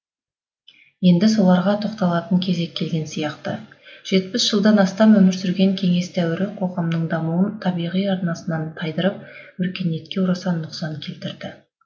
енді соларға тоқталатын кезек келген сияқты жетпіс жылдан астам өмір сүрген кеңес дәуірі қоғамның дамуын табиғи арнасынан тайдырып өркениетке орасан нұқсан келтірді